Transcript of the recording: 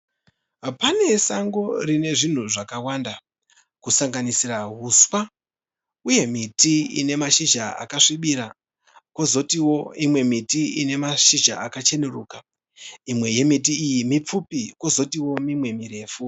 Pane sango rine zvinhu zvakawanda, kusanganisira huswa uye miti ine mashizha akasvibira kozotiwo imwe miti ine mashizha akacheneruka imwe yemiti iyi mipfupi kozotiwo mimwe mirefu.